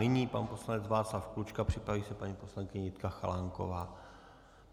Nyní pan poslanec Václav Klučka, připraví se paní poslankyně Jitka Chalánková.